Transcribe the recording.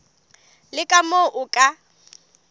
le ka moo o ka